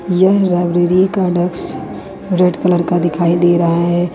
यह लाइब्रेरी का desk red colour का दिखाई दे रहा है।